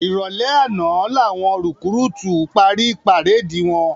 Iròlè àná lá wòn rikúrútú pári párédi wòn